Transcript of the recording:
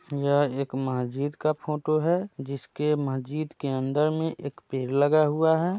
यह एक मस्जिद का फोटो है जिसके मस्जिद के अंदर में एक पेड़ लगा हुआ है।